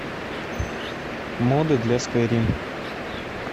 моды для скайрим